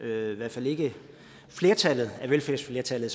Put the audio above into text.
i hvert fald ikke flertallet af velfærdsflertallet